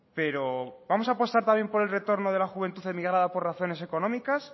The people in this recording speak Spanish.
pero vamos a apostar también por el retorno de la juventud emigrada por razones económicas